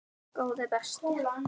Góði besti.